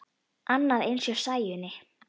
Annað eins hjá Sæunni.